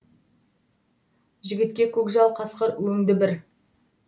жігітке көкжал қасқыр өңді бір